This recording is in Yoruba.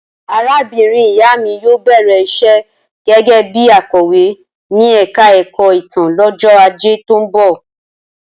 Arábìnrin ìyá mi yóò bẹ̀rẹ̀ iṣẹ́ gẹ́gẹ́ bí akọ̀wé ní ẹ̀ka ẹ̀kọ́ ìtàn lọ́jọ́ ajé tó ń bọ̀